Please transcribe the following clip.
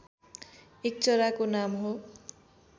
एक चराको नाम हो